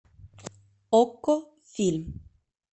окко фильм